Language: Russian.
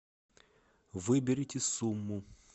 выберите сумму